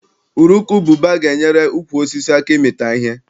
Urukubụba ga-enyere ukwu osisi aka ịmịta ihe.